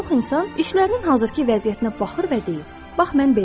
Çox insan işlərinin hazırkı vəziyyətinə baxır və deyir: Bax, mən beləyəm.